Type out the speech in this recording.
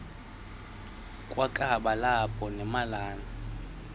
kwakaba lapha nemalana